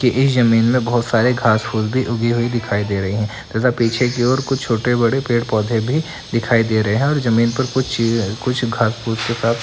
कि इस जमीन में बहुत सारे घास फूस भी उगे हुए दिखाई दे रहे हैं तथा पीछे की ओर कुछ छोटे-बड़े पेड़-पौधे भी दिखाई दे रहे हैं और जमीन पर कुछ चीजें कुछ घास फूस के साथ --